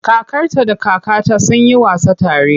Kakarta da kakata sun yi wasa tare.